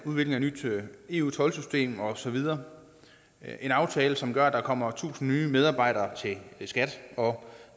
nyt eu toldsystem og så videre det er en aftale som gør at der kommer tusind nye medarbejdere til skat og